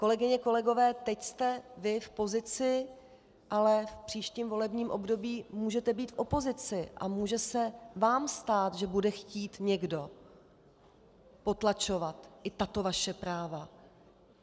Kolegyně, kolegové, teď jste vy v pozici, ale v příštím volebním období můžete být v opozici a může se vám stát, že bude chtít někdo potlačovat i tato vaše práva.